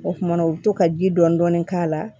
O kumana o bɛ to ka ji dɔɔni dɔɔni k'a la